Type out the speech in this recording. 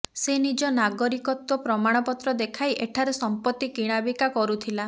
ସେ ନିଜ ନାଗରିକତ୍ୱ ପ୍ରମାଣପତ୍ର ଦେଖାଇ ଏଠାରେ ସମ୍ପତ୍ତି କିଣାବିକା କରୁଥିଲା